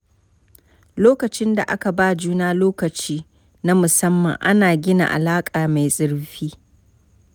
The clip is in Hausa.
Lokacin da aka ba juna lokaci na musamman, ana gina alaka mai zurfi.